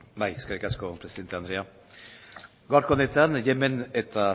eskerrik asko presidente andrea gaurko honetan yemen eta